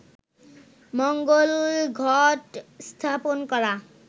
মঙ্গল ঘট স্থাপন করা